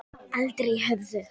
Aldrei höfðu